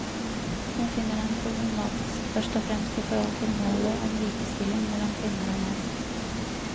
Hun finner den problematisk først og fremst i forhold til målet om likestilling mellom kvinner og menn.